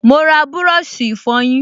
Mo ra búrọ̀ṣì ìfọyín